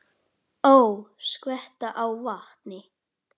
Ó, skvetta á vatni.